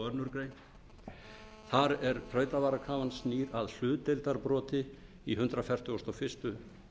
ranglega þar á að standa tuttugasta og aðra grein þrautavarakrafan snýr að hlutdeildarbroti í hundrað fertugasta og fyrstu grein almennra hegningarlaga